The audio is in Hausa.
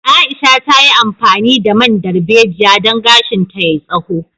Aisha ta yi amfani da man darbejiya don gashinta yai tsaho